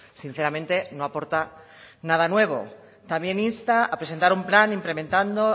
sinceramente no aporta nada nuevo también insta a presentar un plan implementando